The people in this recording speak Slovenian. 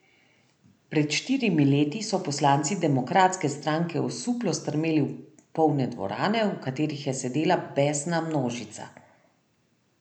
Pred štirimi leti so poslanci demokratske stranke osuplo strmeli v polne dvorane, v katerih je sedela besna množica.